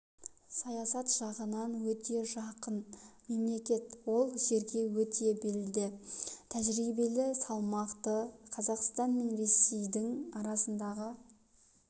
саясат жағынан өте жақын мемлекет ол жерге өте белді тәжірибелі салмақты қазақстан мен ресейдің арасындағы